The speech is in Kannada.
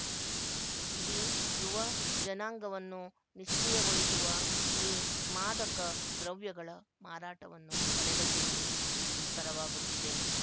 ಇಡೀ ಯುವ ಜನಾಂಗವನ್ನು ನಿಷ್ಕ್ರಿಯಗೊಳಿಸುವ ಈ ಮಾದಕ ದ್ರವ್ಯಗಳ ಮಾರಾಟವನ್ನು ತಡೆಗಟ್ಟುವುದೂ ದುಸ್ತರವಾಗುತ್ತಿದೆ